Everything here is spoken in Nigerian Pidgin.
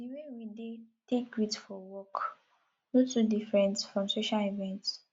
di way we dey take greet for work no too dey diffrent from social event